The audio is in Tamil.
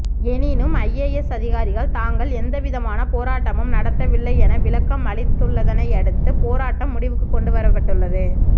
எனினும் ஐஏஎஸ் அதிகாரிகள் தாங்கள் எந்தவிதமான போராட்டமும் நடத்தவில்லை என விளக்கம் அளித்துள்ளதனையடுத்து போராட்டம் முடிவுக்கு கொண்டு வரப்பட்டுள்ளது